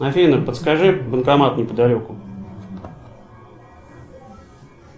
афина подскажи банкомат неподалеку